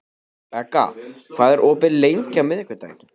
Begga, hvað er opið lengi á miðvikudaginn?